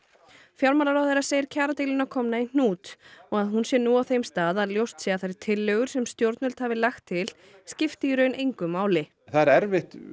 fjármálaráðherra segir kjaradeiluna komna í hnút og að hún sé nú á þeim stað að ljóst sé að þær tillögur sem stjórnvöld hafi lagt til skipti í raun engu máli það er erfitt